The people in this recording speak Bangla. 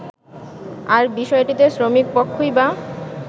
আর বিষয়টিতে শ্রমিকপক্ষই বা